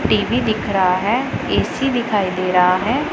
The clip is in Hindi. टी_वी दिख रहा है ए_सी दिखाई दे रहा है।